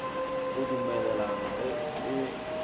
go dumelelana ge go e